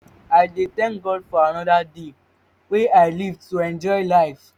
i dey thank god for anoda day wey i live to enjoy life.